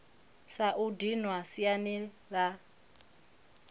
sa u dinwa siani la